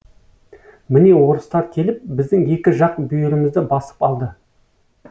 міне орыстар келіп біздің екі жақ бүйірімізді басып алды